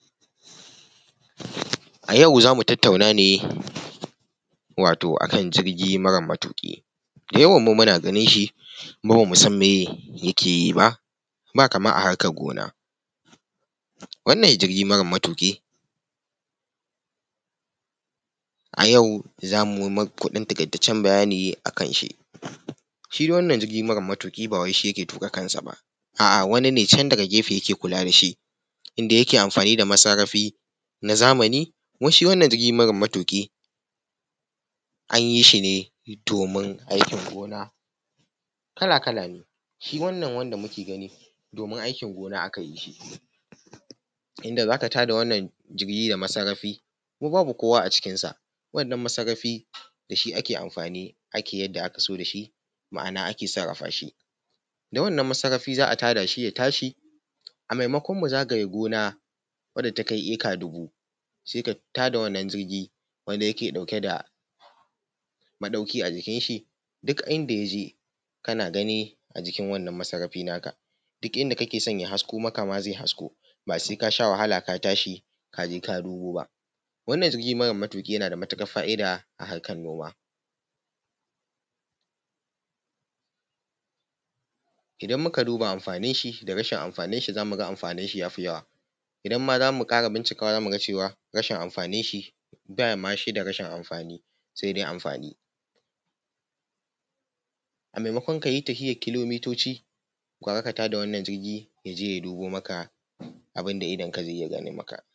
A yau za mu tattauna ne wato akan jirgi mara matuƙi, da yawan mu muna ganin shi kuma bamu san meye yake yi ba, ba kamar a harkar gona. Wannan jirgi mara matuƙi a yau za mu yi maku ɗan taƙaitaccen bayani akan shi. Shi dai wannan jirgi mara matuƙi ba wai shi yake tuƙa kansa ba a’a, wani ne can daga gefe yake kula da shi inda yake amfani da masarrafi na zamani. Kuma shi wannan jirgi mara matuƙi an yi shi ne domin aikin gona, kala-kala ne, shi wannan wanda muke gani domin aikin gona aka yi shi inda za ka tada wannan jirgi da masarrafi kuma babu kowa a cikin sa, wannan masarrafi da shi ake amfani ake yadda aka so da shi ma’ana ake sarrafa shi. Da wannan masarrafi za’a tada shi ya tashi a maimakon mu zagaye gona wadda ta kai eka dubu sai a tada wannan jirgi wanda yake ɗauke da maɗauki a jikin shi duk inda ya je kana gani a jikin wannan masarrafi naka, duk inda kake so ya hasko maka ma zai hasko ba sai ka sha wahala ka tashi ka je ka dubo ba. Wannan jirgi mara matuƙi yana da matuƙar fa’ida a harkar noma. Idan muka duba amfanin shi da rashin amfanin shi za mu ga amfanin shi ya fi yawa. Idan ma za mu ƙara bincikawa za mu ga cewa rashin amfanin shi bama shi da rashin amfani sai dai amfani. A maimakon ka yi tafiyar kilomitoci, gara ka tada wannan jirgin ya je ya dubo maka abin da idon ka zai iya gano maka.